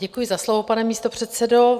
Děkuji za slovo, pane místopředsedo.